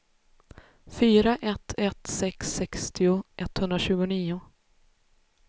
fyra ett ett sex sextio etthundratjugonio